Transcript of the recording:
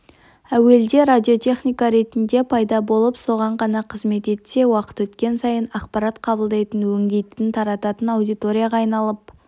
әуелде радиотехника ретінде пайда болып соған ғана қызмет етсе уақыт өткен сайын ақпарат қабылдайтын өңдейтін тарататын аудиторияға айналып